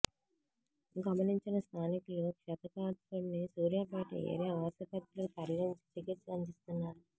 గమనించిన స్థానికులు క్షతగాత్రుడ్ని సూర్యాపేట ఏరియా ఆసుపత్రికి తరలించి చికిత్స అందిస్తున్నారు